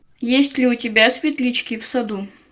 есть ли у тебя светлячки в саду